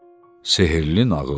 Sehrli nağıl.